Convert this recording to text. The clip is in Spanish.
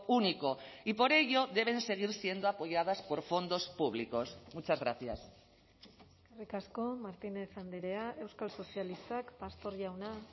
único y por ello deben seguir siendo apoyadas por fondos públicos muchas gracias eskerrik asko martínez andrea euskal sozialistak pastor jauna